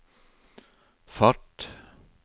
fart